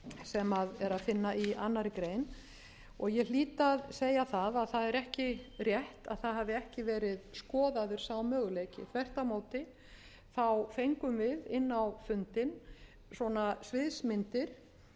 sem er að finna í annarri grein og ég hlýt að segja það að það er ekki rétt að það hafi ekki verið skoðaður sá möguleiki þvert á móti fengum við inn á fundinn svona svipmyndir